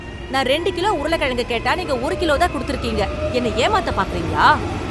நான் ரெண்டு கிலோ உருளக்கிழங்கு கேட்டா நீங்க ஒரு கிலோ தான் கொடுத்துருக்கீங்க. என்ன ஏமாத்த பார்க்குறீங்களா?